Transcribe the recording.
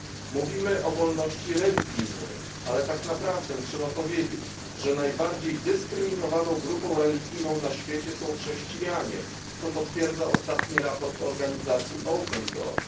Mówimy o wolności religijnej, ale tak naprawdę trzeba powiedzieć, że najbardziej dyskryminowaną grupą religijną na świecie są chrześcijanie, co potwierdza ostatni raport organizacji Open Doors.